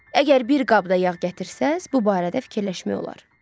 Əgər bir qabda yağ gətirsəz, bu barədə fikirləşmək olar.